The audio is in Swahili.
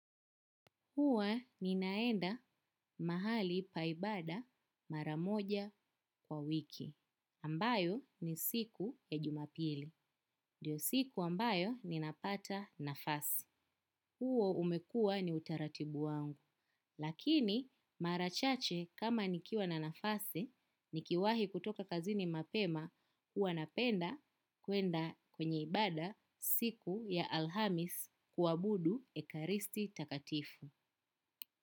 Huwa ninaenda mahali pa ibada maramoja kwa wiki. Ambayo ni siku ya jumapili ndio siku ambayo ninapata nafasi. Huo umekua ni utaratibu wangu. Lakini marachache kama nikiwa na nafasi, nikiwahi kutoka kazini mapema, huwa napenda kuenda kwenye ibada siku ya alhamis kuabudu ekaristi takatifu.